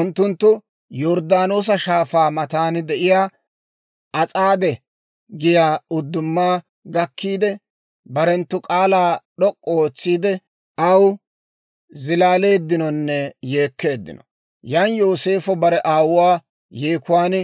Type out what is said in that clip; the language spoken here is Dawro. Unttunttu Yorddaanoosa Shaafaa matan de'iyaa As'aade giyaa udduma gakkiidde, barenttu k'aalaa d'ok'k'u ootsiide, aw zilaaleeddinonne yeekkeeddino; yan Yooseefo bare aawuwaa yeekuwaan